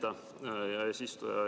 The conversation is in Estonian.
Aitäh, hea eesistuja!